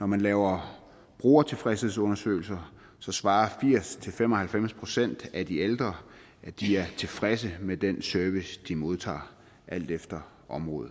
når man laver brugertilfredshedsundersøgelser svarer firs til fem og halvfems procent af de ældre at de er tilfredse med den service de modtager alt efter område